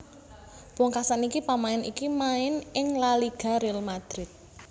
Pungkasan iki pamain iki main ing La Liga Real Madrid